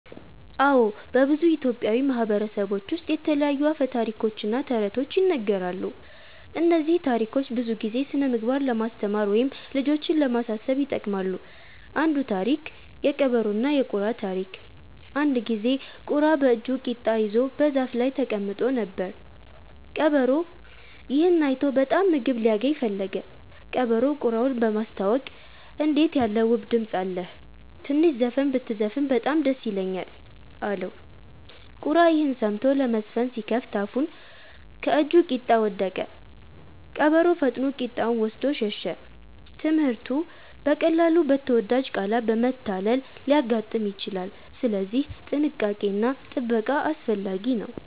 አዎ፣ በብዙ ኢትዮጵያዊ ማህበረሰቦች ውስጥ የተለያዩ አፈ ታሪኮች እና ተረቶች ይነገራሉ። እነዚህ ታሪኮች ብዙ ጊዜ ስነ-ምግባር ለማስተማር ወይም ልጆችን ለማሳሰብ ይጠቅማሉ። አንዱ ታሪክ (የቀበሮና የቁራ ታሪክ) አንድ ጊዜ ቁራ በእጁ ቂጣ ይዞ በዛፍ ላይ ተቀምጦ ነበር። ቀበሮ ይህን አይቶ በጣም ምግብ ሊያገኝ ፈለገ። ቀበሮው ቁራውን በማስታወቅ “እንዴት ያለ ውብ ድምፅ አለህ! ትንሽ ዘፈን ብትዘፍን በጣም ደስ ይለኛል” አለው። ቁራ ይህን ሰምቶ ለመዘፈን ሲከፍት አፉን ከእጁ ቂጣ ወደቀ። ቀበሮ ፈጥኖ ቂጣውን ወስዶ ሸሸ። ትምህርቱ: በቀላሉ በተወዳጅ ቃላት መታለል ሊያጋጥም ይችላል፣ ስለዚህ ጥንቃቄ እና ጥበቃ አስፈላጊ ነው።